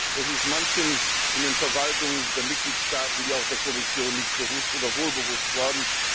Das ist manchen in den Verwaltungen der Mitgliedstaaten wie auch der Kommission nicht bewusst oder wohl bewusst geworden.